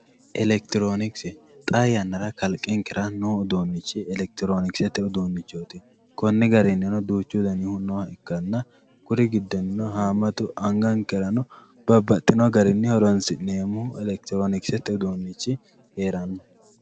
elekitiroonikise xaa yannara kalqenkera noo uduunnichi elekitiroonikisete uduunnichooti kunii garinnino duuchu danihu nooha ikkanna kunni giddono haammatu angankerano horonsi'neemmoho elekitiroonikisete uduunnichi heeranno.